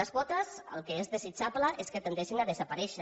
les quotes el que és desitjable és que tendeixin a desaparèixer